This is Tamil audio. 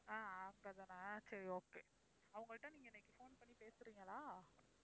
ஆஹ் அவங்க தான சரி okay அவங்கள்ட்ட நீங்க இன்னைக்கு phone பண்ணி பேசுறீங்களா?